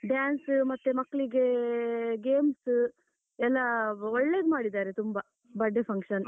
dance ಮತ್ತೆ ಮಕ್ಕಳಿಗೆ games, ಎಲ್ಲಾ ಒಳ್ಳೇದು ಮಾಡಿದ್ದಾರೆ ತುಂಬಾ birthday function.